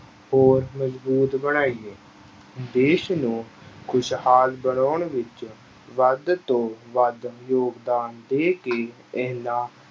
ਹੋਰ ਮਜ਼ਬੂਤ ਬਣਾਈਏ ਦੇਸ ਨੂੰ ਖੁਸ਼ਹਾਲ ਬਣਾਉਣ ਵਿੱਚ ਵੱਧ ਤੋਂ ਵੱਧ ਯੋਗਦਾਨ ਦੇ ਕੇ ਇੰਨਾ